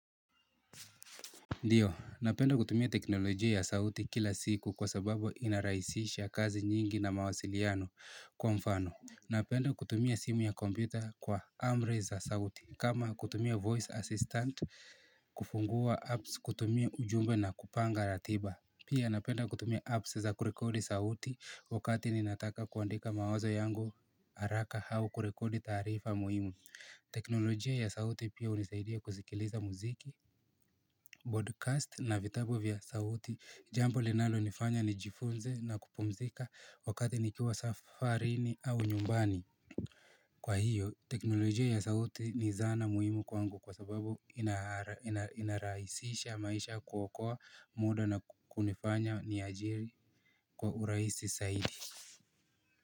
Ndiyo, napenda kutumia teknolojia ya sauti kila siku kwa sababu inarahisisha kazi nyingi na mawasiliano kwa mfano Napenda kutumia simu ya computer kwa amri za sauti kama kutumia voice assistant kufungua apps kutumia ujumbe na kupanga ratiba Pia napenda kutumia apps za kurekodi sauti wakati ninataka kuandika mawazo yangu haraka au kurekodi taarifa muhimu teknolojia ya sauti pia unisaidia kuzikiliza muziki Broadcast na vitabu vya sauti jambo linalo nifanya ni jifunze na kupumzika wakati nikiwa safarini au nyumbani Kwa hiyo teknolojia ya sauti ni zana muhimu kwangu kwa sababu inarahisisha maisha kuokoa muda na kunifanya ni ajiri kwa urahisi saidi.